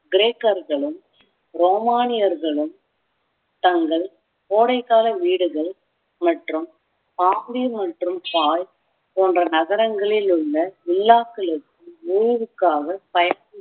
கிரேக்கர்களும் ரோமானியர்களும் தங்கள் கோடைக்கால வீடுகள் மற்றும் போன்ற நகரங்களில் உள்ள விழாக்களுக்கும் ஊருக்காக பயணம்